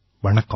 வணக்கம்